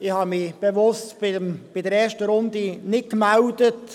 Ich habe mich bei der ersten Runde bewusst nicht gemeldet.